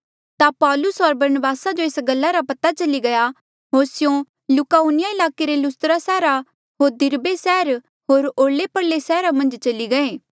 ता पौलुस होर बरनबासा जो एस गल्ला रा पता चली गया होर स्यों लुकाउनिया ईलाके रे लुस्त्रा सैहरा होर दिरबे सैहर होर ओरले परले रे सैहरा मन्झ चली गये